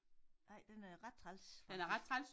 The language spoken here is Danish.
Ej den er ret træls faktisk